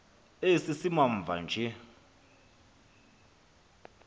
esi simamva nje